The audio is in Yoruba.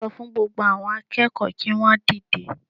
Sọ fún gbogbo àwọn akẹ́kọ̀ọ́ kí wọn dìde